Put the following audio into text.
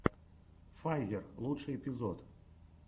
файзер лучший эпизод